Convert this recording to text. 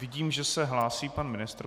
Vidím, že se hlásí pan ministr.